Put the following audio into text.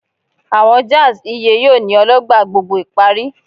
Awọn jazz iye yoo ni Ologba gbogbo ìparí